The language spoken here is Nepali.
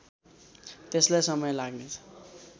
त्यसलाई समय लाग्नेछ